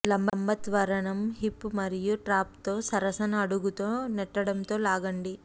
లంబ త్వరణం హిప్ మరియు ట్రాప్తో సరసన అడుగుతో నెట్టడంతో లాగండి